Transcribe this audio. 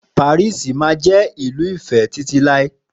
Paris mámá jẹ́ ìlú ìfé títí láé